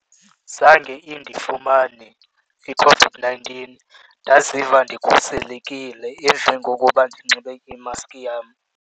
Zange indifumane iCOVID-nineteen ndaziva ndikhuselekile emveni kokuba ndinxibe imaski yam.